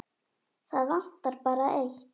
Það vantar bara eitt.